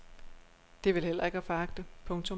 Det er vel heller ikke at foragte. punktum